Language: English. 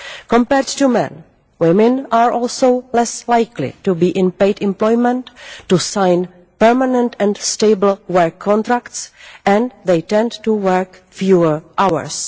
Compared to men, women are also less likely to be in paid employment, to sign permanent and stable work contracts, and they tend to work fewer hours.